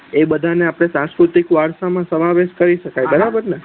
એ બધા ને આપડે સાસ્કૃતિ વારસા માં સમવેશ કરી સકાય બરાબર ન